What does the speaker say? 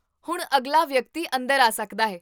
ਹੁਣ ਅਗਲਾ ਵਿਅਕਤੀ ਅੰਦਰ ਆ ਸਕਦਾ ਹੈ!